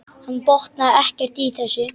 Hann botnaði ekkert í þessu.